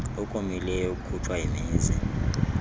okomileyo okukhutshwa yimizi